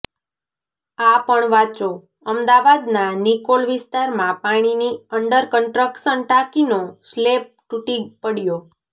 આ પણ વાંચોઃ અમદાવાદના નિકોલ વિસ્તારમાં પાણીની અંડરકન્સ્ટ્રક્શન ટાંકીનો સ્લેબ તૂટી પડ્યો